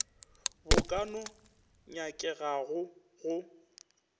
bo ka no nyakegago go